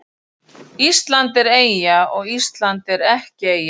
Ísland er eyja og Ísland er ekki eyja